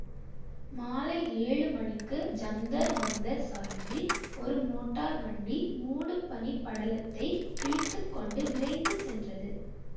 மாலை ஏழு மணிக்கு ஜந்தர் மந்தர் சாலையில் ஒரு மோட்டார் வண்டி மூடுபனிப் படலத்தைக் கிழித்துக்கொண்டு விரைந்து சென்றது